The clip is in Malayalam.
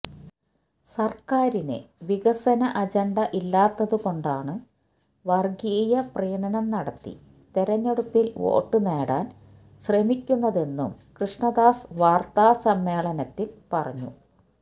സര്ക്കാരിന് വികസന അജണ്ട ഇല്ലാത്തതുകൊണ്ടാണ് വര്ഗീയ പ്രീണനം നടത്തി തെരഞ്ഞെടുപ്പില് വോട്ട് നേടാന് ശ്രമിക്കുന്നതെന്നും കൃഷ്ണദാസ് വാര്ത്താ സമ്മേളനത്തില് പറഞ്ഞു